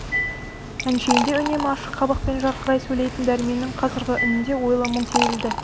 әншейінде үнемі ашық қабақпен жарқырай сөйлейтін дәрменнің қазіргі үнінде ойлы мұң сезілді